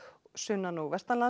sunnan og